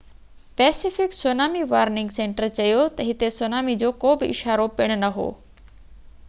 Pacific tsunami warning centre چيو ته هتي سونامي جو ڪو به اشارو پڻ نه هو